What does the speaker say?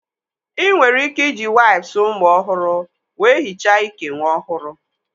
Ị nwere ike iji waips ụmụ ọhụrụ wee hichaa ike nwa ọhụrụ